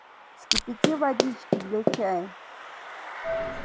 вскипяти водички для чаю